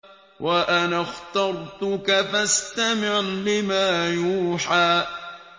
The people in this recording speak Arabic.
وَأَنَا اخْتَرْتُكَ فَاسْتَمِعْ لِمَا يُوحَىٰ